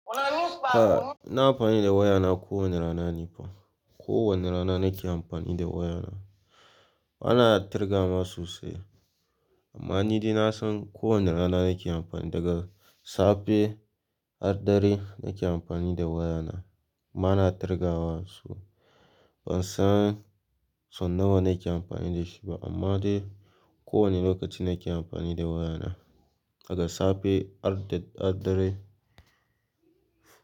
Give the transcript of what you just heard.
Ina amfani da waya na kowane rana ne fa. Ko wane rana nake amfani da waya na. Bana kirga ma sosai amma ni dai na san kowane rana nake amfani, daga safe har dare nake amfani da waya na. Bana kirga wa su. Ban san son nawa nake amfani da shi ba amma dai ko wane lokaci nake amfani da waya na, daga safe har da daddare.